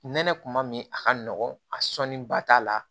Nɛnɛ kuma min a ka nɔgɔn a sɔnni ba t'a la